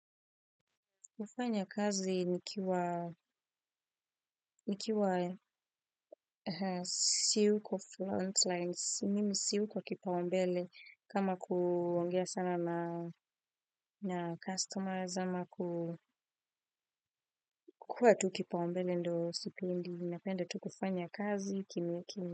Kufanya kazi nikiwa siu ko front lines, simimi siyu ko kipaumbele, kama kuongea sana na customers, ama ku kukua tu kipaumbele ndo sipendi, ninapenda tu kufanya kazi kimya kimya.